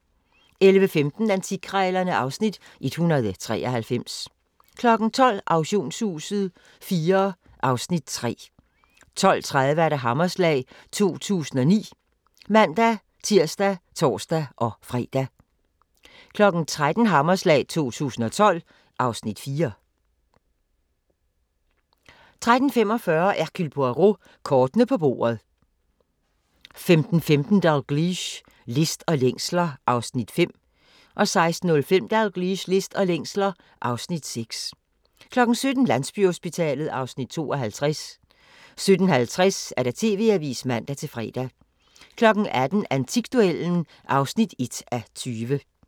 11:15: Antikkrejlerne (Afs. 193) 12:00: Auktionshuset IV (Afs. 3) 12:30: Hammerslag 2009 (man-tir og tor-fre) 13:00: Hammerslag 2012 (Afs. 4) 13:45: Hercule Poirot: Kortene på bordet 15:15: Dalgliesh: List og længsler (Afs. 5) 16:05: Dalgliesh: List og længsler (Afs. 6) 17:00: Landsbyhospitalet (Afs. 52) 17:50: TV-avisen (man-fre) 18:00: Antikduellen (1:20)